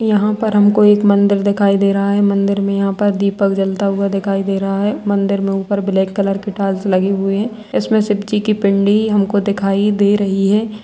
यहां पर हमको एक मंदिर दिखाई दे रहा है मंदिर में यहां पर दीपक जलता हुआ दिखाई दे रहा है मंदिर में ऊपर ब्लैक कलर की टाइल्स लगी हुई है उसमे शिव जी की पिंडी हमको दिखाई दे रही है।